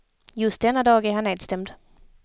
Just denna dag är han nedstämd.